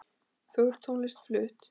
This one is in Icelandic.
Fögur tónlist flutt.